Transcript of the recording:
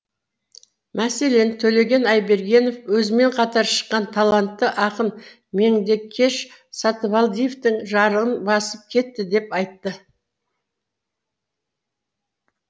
мәселен төлеген айбергенов өзімен қатар шыққан талантты ақын меңдекеш сатыбалдиевтің жарығын басып кетті деп айтты